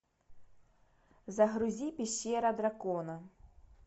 загрузи пещера дракона